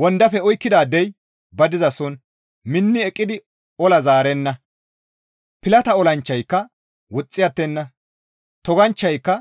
Wondafe oykkidaadey ba dizason minni eqqidi ola zaarenna; pilata olanchchayka woxxi attenna; toganchchayka